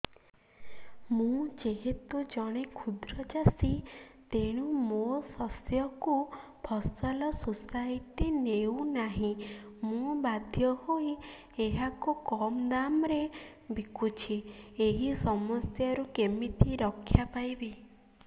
ମୁଁ ଯେହେତୁ ଜଣେ କ୍ଷୁଦ୍ର ଚାଷୀ ତେଣୁ ମୋ ଶସ୍ୟକୁ ଫସଲ ସୋସାଇଟି ନେଉ ନାହିଁ ମୁ ବାଧ୍ୟ ହୋଇ ଏହାକୁ କମ୍ ଦାମ୍ ରେ ବିକୁଛି ଏହି ସମସ୍ୟାରୁ କେମିତି ରକ୍ଷାପାଇ ପାରିବି